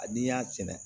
A n'i y'a sɛnɛ